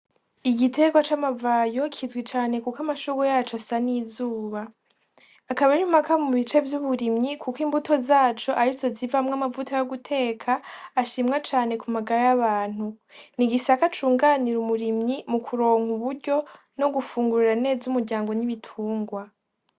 Igitekwa c'amavayo kizwi cane, kuko amashugu yacu asa n'izuba akaba iraimaka mu bice vy'uburimyi, kuko imbuto zaco ari zo zivamwo amavuta yo guteka ashimwa cane ku magara 'abantu ni igisaka cunganira umurimyi mu kuronka uburyo no gufungurura neza umuryango ny'ibitungwa.